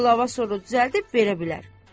Qlava sorunu düzəldib verə bilər.